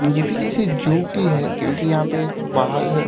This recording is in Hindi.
ये भी किसी जू की है क्योंकि यहाँ पे बाघ --